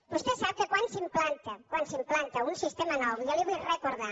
vostè sap que quan s’implanta un sistema nou jo li vull recordar